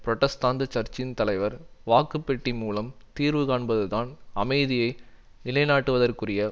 புரட்டஸ்தாந்து சர்ச்சின் தலைவர் வாக்குப்பெட்டி மூலம் தீர்வுகாண்பதுதான் அமைதியை நிலைநாட்டுவதற்குரிய